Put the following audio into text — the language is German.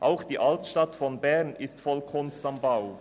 Auch die Altstadt von Bern ist voll von «Kunst am Bau».